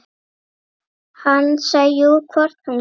Hansa: Jú, hvort hún getur.